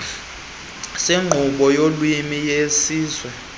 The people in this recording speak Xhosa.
senkqubo yolwimi yesizwe